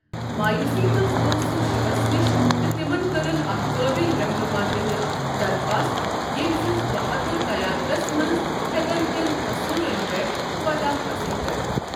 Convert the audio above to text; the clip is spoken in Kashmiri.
مایوٗسی منٛز گوٚو سُہ شِیوَس نِش تہٕ تِمَن کٔرٕن اکھ قٲبل رہنما دِنٕچ درخواست یٔمۍ سنٛز بہادُر قیادتَس منٛز ہیکَن تِم اسورن پٮ۪ٹھ فتح حٲصل کٔرِتھ۔